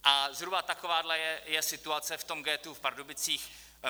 A zhruba takováhle je situace v tom ghettu v Pardubicích.